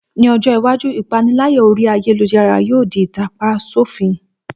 Ní ọjọ́ iwájú, ìpániláyà orí ayélujára yóò di ìtàpa sòfin